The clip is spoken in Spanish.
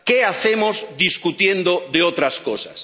¿Qué hacemos discutiendo de otras cosas?